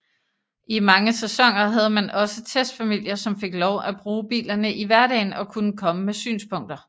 I mange sæsoner havde man også testfamilier som fik lov at bruge bilerne i hverdagen og kunne komme med synspunkter